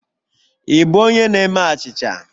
Ị bụ onye na-eme achịcha?